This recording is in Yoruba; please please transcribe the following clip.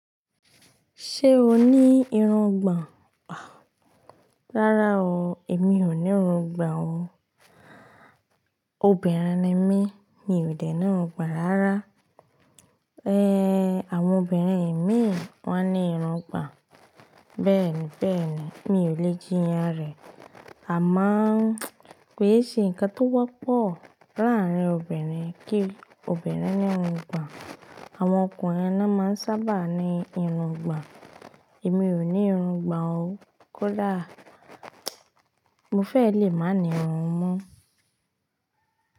Ṣé o ní irun gbàn? Rárá o, èmi ò ní irun gbà o. Obìnrin ni mí, mi ò dènà irun gbàn rárá. Ehn, àwọn obìnrin mí wá ní irun gbà. Bẹ́ẹ̀ni, bẹ́ẹ̀ni, mi ò le jí iyanrẹ̀. Àmáà kó yé ṣe ǹkan tó wọ́pọ̀ láàrín obìnrin kí obìnrin ní irun gbà. Àwọn ọkùnrin ló máa ń sábà ní irun gbàn. Èmi ò ní irun gbà o. Kódà mo fẹ́ lè máa ní irun mú.